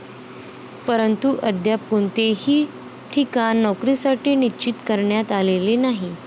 परंतु अद्याप कोणतेही ठिकाण नोकरीसाठी निश्चित करण्यात आलेले नाही.